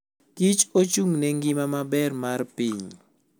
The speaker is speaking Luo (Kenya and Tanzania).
kich ochung'ne ngima maber mar piny.